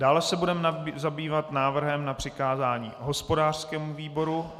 Dále se budeme zabývat návrhem na přikázání hospodářskému výboru.